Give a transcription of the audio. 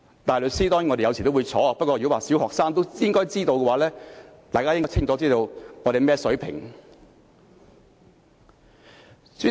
大律師，當然我們有時候也會出錯，不過如果說小學生也應該知道，大家便應該清楚知道我們的水平是怎樣。